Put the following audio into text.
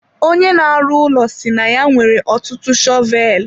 Onye na-arụ ụlọ si na ya nwere ọtụtụ shọvel.